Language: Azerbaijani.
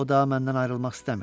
O da məndən ayrılmaq istəmirdi.